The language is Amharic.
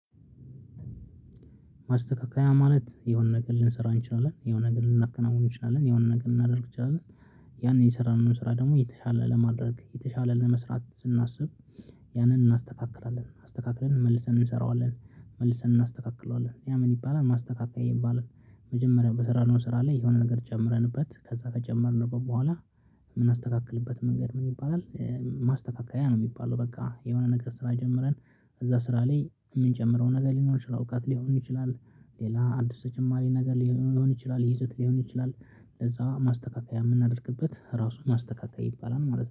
ማስተካከያ ማለት የሆነ ነገር ልንሰራ እንችላለን የሆነ ነገር ልናከናውን እንችላለን የሆነ ነገር ልናደርግ እንችላለን። ያንን የሰራነውን ስራ ደግሞ የተሻለ ለማድረግ የተሻለ ለመስራት ስናስብ። ያንን እናስተካክራለን አስተካክረን መልሰን እንሰራዋለን። መልሰን እናስተካክለዋለን ያ ምን ይባላል ማስተካከያ የሚባል። መጀመሪያ በስራ ነው ስራ ላይ የሆነ ነገር ጨምረንበት ከዛ ከጨመርንበት በኋላ የምናስተካክልበት መንገድ ምን ይባላል? ማስተካከያ ነው። የሚባለው በቃ የሆነ ነገር ስራ ጀምረን ከዛ ስራ ላይ የምንጨምረው ነገር ሊኖር ይችላል አውቃት ሊሆን ይችላል። ሌላ አዲስ ተጨማሪ ነገር ሊሆን ይችላል ይዘት ሊሆን ይችላል። ለዛ ማስተካከያ የምናደርግበት ራሱን ማስተካከያ ይባላል ማለት ነው